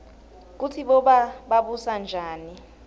kutsi boba babusanjani